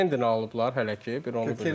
Zupen alıblar hələ ki, bir onu bilmirəm.